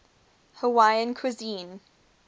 hawaiian cuisine